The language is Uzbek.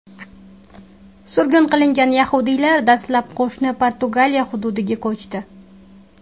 Surgun qilingan yahudiylar dastlab qo‘shni Portugaliya hududiga ko‘chdi.